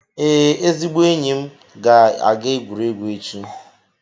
Ee, ezigbo enyi m ga-aga egwuregwu echi.